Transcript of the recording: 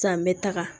San bɛ taga